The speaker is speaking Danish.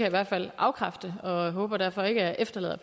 i hvert fald afkræfte og jeg håber derfor ikke at jeg efterlader